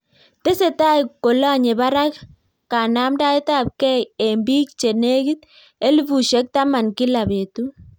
Tesetai kolanyee barak kanamdaet ap kei eng piik chelegit elefusiek taman kila petut